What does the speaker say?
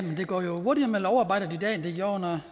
det herre